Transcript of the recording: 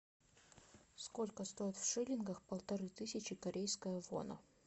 сколько стоит в шиллингах полторы тысячи корейская вона